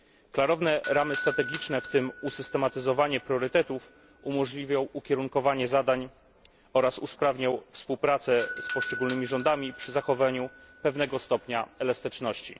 Klarowne ramy strategiczne, w tym usystematyzowanie priorytetów, umożliwią ukierunkowanie zadań oraz usprawnią współpracę z poszczególnymi rządami przy zachowaniu pewnego stopnia elastyczności.